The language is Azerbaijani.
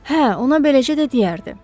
Hə, ona beləcə də deyərdi.